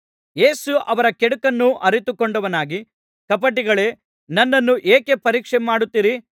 ಯೇಸು ಅವರ ಕೆಡುಕನ್ನು ಅರಿತುಕೊಂಡವನಾಗಿ ಕಪಟಿಗಳೇ ನನ್ನನ್ನು ಏಕೆ ಪರೀಕ್ಷೆಮಾಡುತ್ತೀರಿ